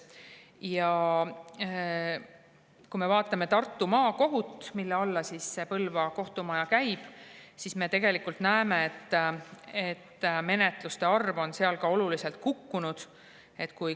Ja kui me vaatame statistikat Tartu Maakohtus, mille alla Põlva kohtumaja käib, siis me tegelikult näeme, et menetluste arv on seal oluliselt kukkunud.